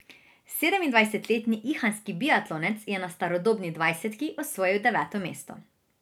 Sedemindvajsetletni ihanski biatlonec je na starodobni dvajsetki osvojil deveto mesto.